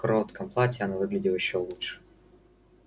в коротком платье она выглядела ещё лучше